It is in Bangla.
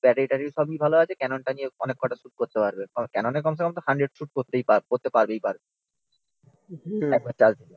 ব্যাটারী ট্যাটারী সবই ভালো আছে ক্যানন টা নিয়ে অনেককটা শ্যুট করতে পারবে। ক্যাননে কমসেকম হানড্রেড শ্যুট করতেই পারবে করতে পারবেই পারবে অ্যাচ সাচ